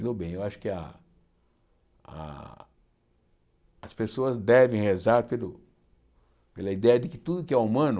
Me dou bem eu acho que a a as pessoas devem rezar pelo pela ideia de que tudo que é humano...